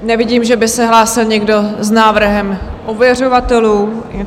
Nevidím, že by se hlásil někdo s návrhem ověřovatelů.